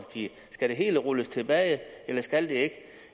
skal det hele rulles tilbage eller skal det ikke